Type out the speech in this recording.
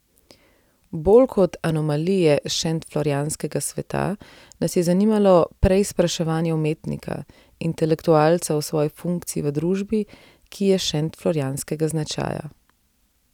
Bolj kot anomalije šentflorjanskega sveta nas je zanimalo preizpraševanje umetnika, intelektualca o svoji funkciji v družbi, ki je šentflorjanskega značaja.